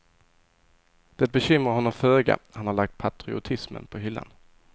Det bekymrar honom föga, han har lagt patriotismen på hyllan.